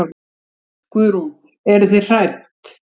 Guðrún: Eruð þið hrædd?